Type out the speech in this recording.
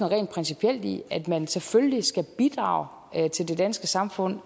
rent principielt i at man selvfølgelig skal bidrage til det danske samfund